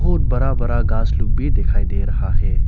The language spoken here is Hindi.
बहुत बड़ा बड़ा घास लोग भी दिखाई दे रहा है।